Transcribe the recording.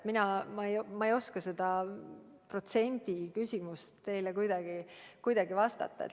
Ma ei oska seda protsenti teile kuidagi pakkuda.